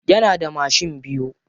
Yana da mashin biyu.